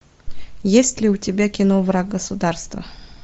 есть ли у тебя кино враг государства